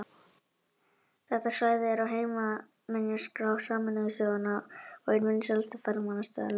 Þetta svæði er á heimsminjaskrá Sameinuðu þjóðanna og einn vinsælasti ferðamannastaðurinn á Norður-Írlandi.